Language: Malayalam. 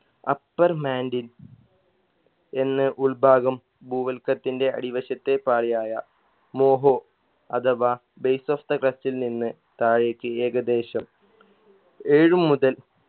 upper mantle എന്ന് ഉൾഭാഗം ഭൂവൽക്കത്തിൻറെ അടിവശത്തെ പാളിയായ മോഹോ അഥവാ base of the crust ൽ നിന്ന് താഴേക്ക് ഏകദേശം ഏഴ് മുതൽ